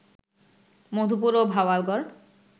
মধুপুর ও ভাওয়াল গড়